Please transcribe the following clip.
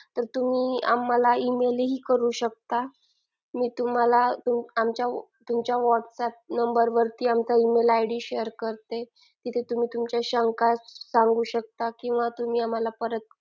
तुम्ही आम्हाला email ही करू शकता मी तुम्हाला तुमच्या whats up number आमचा email id share करते तिथे तुम्ही तुमच्या शंका सांगू शकता किंवा तुम्ही आम्हाला परत